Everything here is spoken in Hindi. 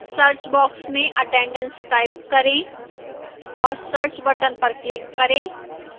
search box में attendance type करें और search button पर click करें